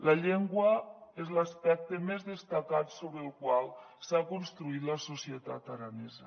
la llengua és l’aspecte més destacat sobre el qual s’ha construït la societat aranesa